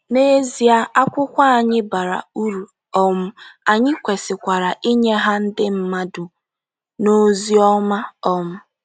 N’ezie, akwụkwọ anyị bara uru um, anyị kwesịkwara inye ha ndị mmadụ n’ozi ọma um.